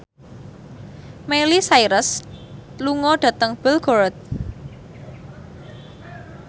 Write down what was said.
Miley Cyrus lunga dhateng Belgorod